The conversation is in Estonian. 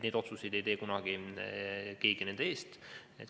Neid otsuseid ei tee kunagi keegi nende eest.